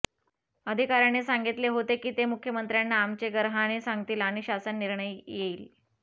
अधिकाऱ्यांनी सांगितले होते की ते मुख्यमंत्र्यांना आमचे गार्हाणे सांगतील आणि शासन निर्णय येईल